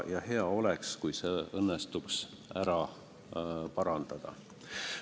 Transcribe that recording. Ja hea oleks, kui see õnnestuks ära parandada.